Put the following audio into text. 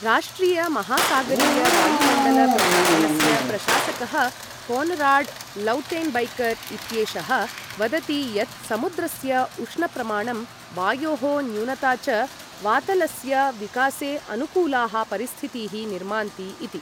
राष्ट्रिय महासागरीय वायुमण्डल प्रशासनस्य प्रशासकः कोनराड् लौटेन्बैकर् इत्येषः वदति यत् समुद्रस्य उष्ण प्रमाणं, वायोः न्यूनता च वातलस्य विकासे अनुकूलाः परिस्थितीः निर्मान्ति इति।